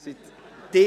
– Sie schon!